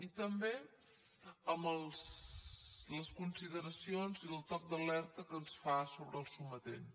i també amb les consideracions i el toc d’alerta que ens fa sobre el sometent